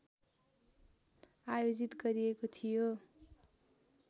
आयोजित गरिएको थियो